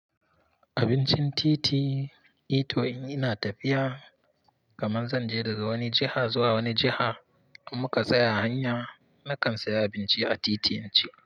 Abincin titi, ita in ina tafiya kaman zan je daga wani jiha zuwa wani jiha, in muka tsaya hanya, nakan siya abinci a titin in ci.